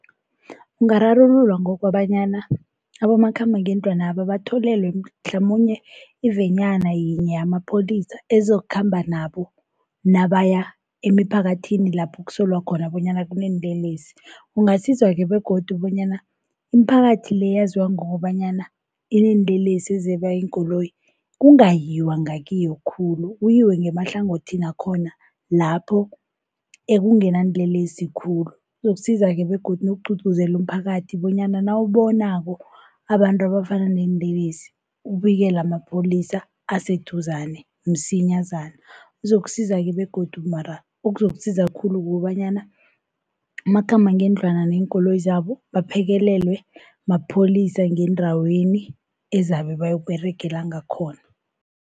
Ungararululwa ngokobanyana abomakhambangendlwanaba batholelwe mhlamunye ivenyana yinye yamapholisa, ezokhamba nabo nabaya emiphakathini lapho kusolwa khona bonyana kuneenlelesi. Kungasiza-ke begodu bonyana imiphakathi-le eyaziwa ngokobanyana ineenlelesi ezeba iinkoloyi, kungayiwa ngakiyo khulu kuyiwe ngemahlangothini wakhona lapho ekungenanlelesi khulu. Kuzokusiza-ke begodu nokugqugquzela umphakathi bonyana nawubonako abantu abafana neenlelesi ubikele amapholisa aseduzane msinyazana. Kuzokusiza-ke begodu mara okuzokusiza khulu kukobanyana umakhambangendlwana neenkoloyi zabo baphekelelwe mapholisa ngeendaweni ezabe bayokuberegela ngakhona.